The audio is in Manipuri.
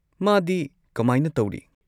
ꯃꯥꯗꯤ ꯀꯃꯥꯏꯅ ꯇꯧꯔꯤ?